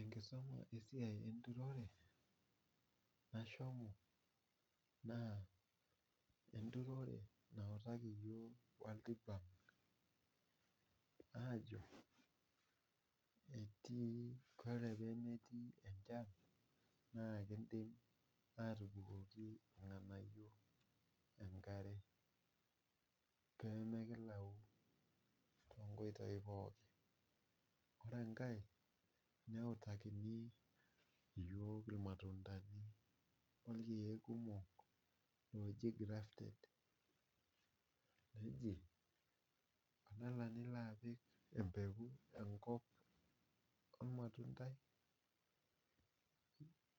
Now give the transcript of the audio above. Enkisuma esiai enturore ashomo naa enturore nautaki yook [cs[world bank aajo etii, kore pemetii enchan naa kindim atobikoki ilng'anaiyo eenkare peemekilau to nkoitoi pooki. Kore enkae neutakini yook ilmatundani olkiek kumok ooji grafted eji tenelo nilo apik empeku enkop olmatundai,